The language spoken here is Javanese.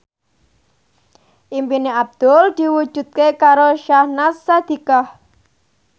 impine Abdul diwujudke karo Syahnaz Sadiqah